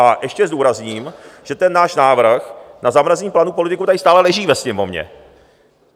A ještě zdůrazním, že ten náš návrh na zamrazení platů politiků tady stále leží ve Sněmovně.